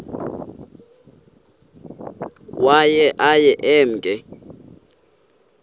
waye aye emke